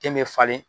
Den bɛ falen